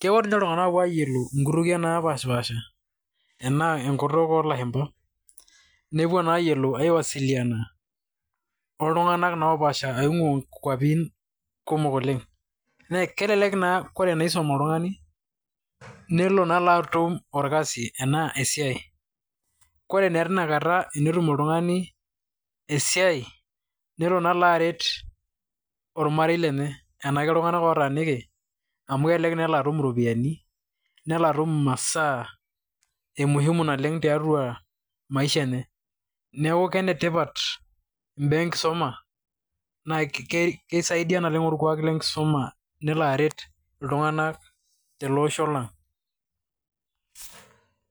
Kepuo iltung'ana ayolou nkutukie napash pasha ena enkutuk olashumba nepuo naa ayolou aiwasiliana oltung'ana naa opash pasha oing'ua nkuapin kumok oleng'. Na kelelek naa ena kisuma oltung'ani nelo atum orkasi ena esiai. Koree taa tinakata tenitum oltung'ani esiai nelo naa alo aret ormarei lenye enaa keltunga'na otaaniki amu kelelek naa elo atum iropiani neloo atum imasaa ee muhimu naleng tiatua maisha enye. Neeku kenetipat ibaa enkisuma na kisaidia orkuak lenkisuma nelo aret iltung'ana te le osho lang'.